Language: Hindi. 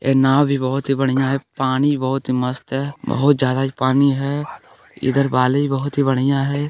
ये नाव भी बहुत ही बढ़ियां है पानी बहुत ही मस्त है बहुत ज्यादा पानी है इधर बालू भी बहुत बढ़ियां है।